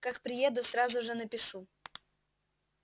как приеду сразу же напишу